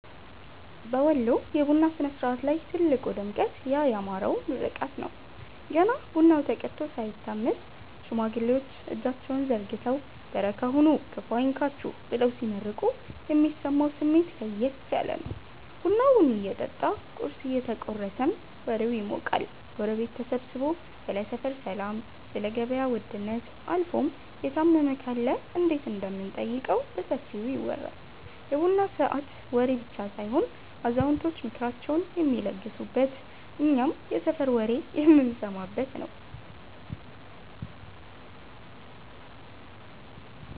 በወሎ የቡና ሥነ-ሥርዓት ላይ ትልቁ ድምቀት ያ ያማረው ምርቃት ነው። ገና ቡናው ተቀድቶ ሳይታመስ፣ ሽማግሌዎች እጃቸውን ዘርግተው "በረካ ሁኑ፤ ክፉ አይንካችሁ" ብለው ሲመርቁ የሚሰማው ስሜት ለየት ያለ ነው። ቡናው እየጠጣ ቁርስ እየተቆረሰም ወሬው ይሞቃል። ጎረቤት ተሰብስቦ ስለ ሰፈር ሰላም፣ ስለ ገበያ ውድነት አልፎም የታመመ ካለ እንዴት እንደምንጠይቀው በሰፊው ይወራል። የቡና ሰዓት ወሬ ብቻ ሳይሆን አዛውንቶች ምክራቸውን የሚለግሱበት፤ እኛም የሰፈር ወሬ የምንሰማበት ነዉ።